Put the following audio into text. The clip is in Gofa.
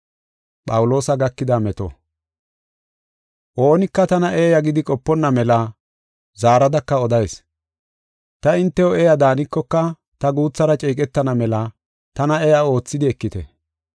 Oonika tana eeya gidi qoponna mela zaaradaka odayis. Ta hintew eeya daanikoka ta guuthara ceeqetana mela tana eeya oothidi ekite.